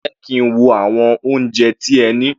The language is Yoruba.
Jẹ́ kí n wo àwọn oúnjẹ tí ẹ ní.